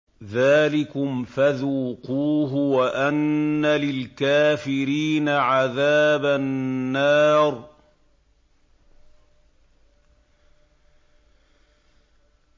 ذَٰلِكُمْ فَذُوقُوهُ وَأَنَّ لِلْكَافِرِينَ عَذَابَ النَّارِ